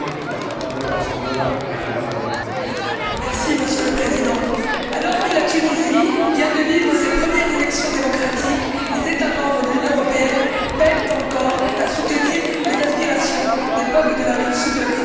Monsieur le Président, alors que la Tunisie vient de vivre ses premières élections démocratiques, les États membres de l'Union européenne peinent encore à soutenir les aspirations des peuples de la rive sud de la Méditerranée et à faire preuve d'une réelle solidarité.